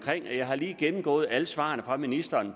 her jeg har lige gennemgået alle svarene fra ministeren